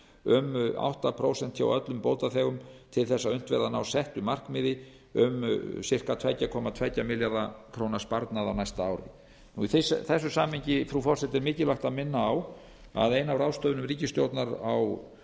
um átta prósent hjá öllum bótaþegum til þess að unnt verði að ná settu markmiði um á að giska tvö komma tvo milljarða króna sparnað á næsta ári í þessu samhengi frú forseti er mikilvægt að minna á að ein af ráðstöfunum ríkisstjórnar á